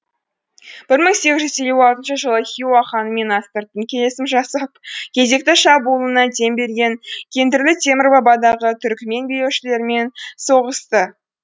бір мың сегіз жүз елу алтыншы жылы хиуа ханымен астыртын келісім жасап кезекті шабуылына дем берген кендірлі темір бабадағы түрікмен билеушілерімен соғысты